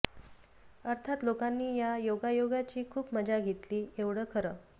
अर्थात लोकांनी या योगायोगाची खूप मजा घेतली एवढं खरं